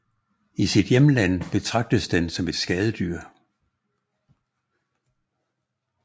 I sit hjemland betragtes den som et skadedyr